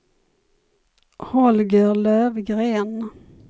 Holger Lövgren